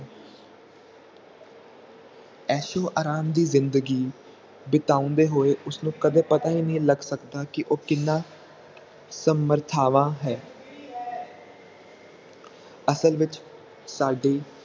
ਐਸ਼ੋ ਰਾਮ ਦੀ ਜਿੰਦਗੀ ਬਿਤਾਉਂਦੇ ਹੋਏ ਉਸਨੂੰ ਕਦੇ ਪਤਾ ਹੀ ਨਹੀਂ ਲੱਗ ਸਕਦਾ ਕੀ ਉਹ ਕਿਹਨਾਂ ਸਮਰਥਾਵਾਂ ਹੈ ਅਸਲ ਵਿਚ ਸਾਡੀ